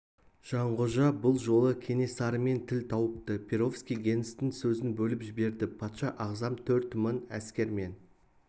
жанғожа бұл жолы кенесарымен тіл тауыпты перовский генстің сөзін бөліп жіберді патша ағзам төрт мың әскермен